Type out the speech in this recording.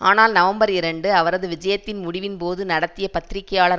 ஆனால் நவம்பர் இரண்டு அவரது விஜயத்தின் முடிவின் போது நடத்திய பத்திரிகையாளர்